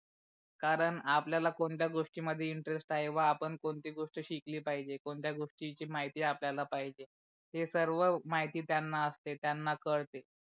कारण आपल्याला कोणत्या गोष्टी मध्ये इंटरेस्ट आहे व आपण कोणती गोष्ट शिकली पाहिजे कोणत्या गोष्टीची माहिती आपल्याला पहिजे हे सर्व माहिती त्यांना असते त्यांना कळते.